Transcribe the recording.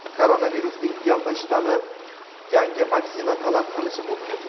Koronavirusning "delta" shtammi yangi vaksina talab qilishi mumkin.